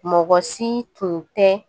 Mɔgɔ si tun tɛ